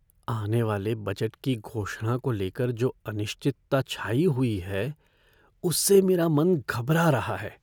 आने वाले बजट की घोषणा को लेकर जो अनिश्चितता छाई हुई है, उससे मेरा मन घबरा रहा है।